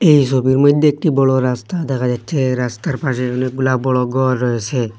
এই ছবির মধ্যে একটি বড় রাস্তা দেখা যাচ্ছে রাস্তার পাশে অনেকগুলা বড় ঘর রয়েসে।